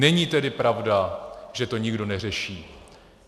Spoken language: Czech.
Není tedy pravda, že to nikdo neřeší.